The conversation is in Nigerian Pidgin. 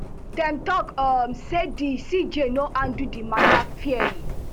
dem tok um say di cj no handle di matter fairly